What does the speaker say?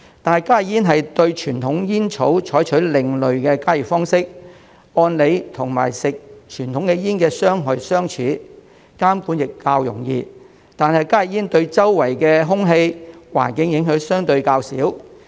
但加熱煙對傳統煙草採用另類的加熱方式，按理與吸食傳統煙的傷害相似，監管亦較容易，但加熱煙對周圍的空氣、環境影響相對較少。